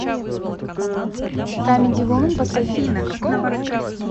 камеди вумен последний выпуск